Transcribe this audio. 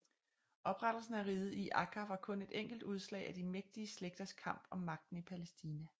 Oprettelsen af riget i Akkâ var kun et enkelt udslag af de mægtige slægters kamp om magten i Palæstina